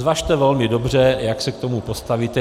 Zvažte velmi dobře, jak se k tomu postavíte.